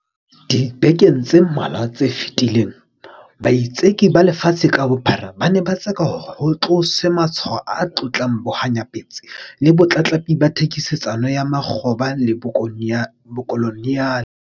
Dibekeng tse mmalwa tse fetileng, baitseki ba lefatshe ka bophara ba ne ba tseka hore ho tloswe matshwao a tlotlang bohanyapetsi le botlatlapi ba thekisetsano ya makgoba le bokoloniale.